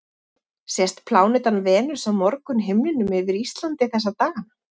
Sést plánetan Venus á morgunhimninum yfir Íslandi þessa dagana?